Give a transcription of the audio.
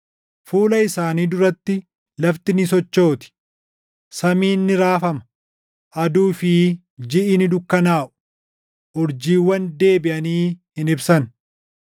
Fuula isaanii duratti lafti ni sochooti; samiin ni raafama; aduu fi jiʼi ni dukkanaaʼu; urjiiwwan deebiʼanii hin ibsan.